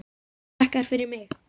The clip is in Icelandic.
Og þakka þér fyrir mig.